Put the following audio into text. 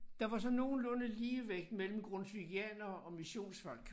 Der var sådan nogenlunde ligevægt mellem grundtvigianere og missionsfolk